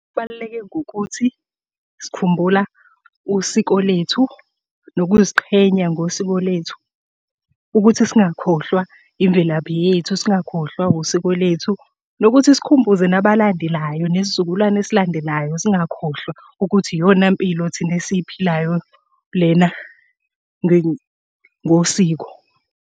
Kubaluleke ngokuthi, sikhumbula usiko lethu, nokuziqhenya ngosiko lethu, ukuthi singakhohlwa imvelaphi yethu singakhohlwa usiko lethu, nokuthi sikhumbuze nabalandelayo nesizukulwane esilandelayo singakhohlwa ukuthi iyona mpilo thina esiyiphilayo lena ngosiko.